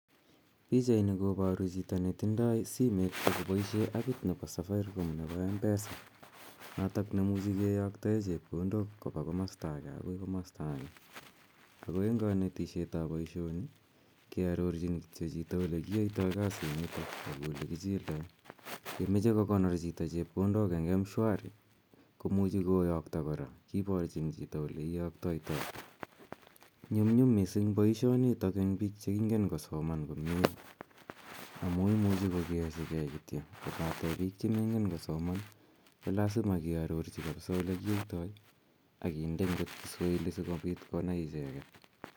Pichaini koparu chuto ne tindai simet ak kopoishe apit nepo Safaricom nepo Mpesa notok ne imuchi kiyaktae chepkondok kopa komasta age akoi komastaa age. Ako eng' kanetishet ap poishoni, kiarorchjn kityo chito ole kiyaitai kasinitani ak ole kichildai. Ye mache kokonor chito chepkondok eng' mshwari ko muchi koyakta kora, kiparchin chito ole kiyaktaitai. Nyumnyum missing' poishoni eng' pik che ingen kosoman amu imuchi kokerchigei kityo kopate pik che mengen kosoman ko lasima kiarorchi kapsa ole kiyaitai ak kinde akot Kiswahili asikopit konai icheget.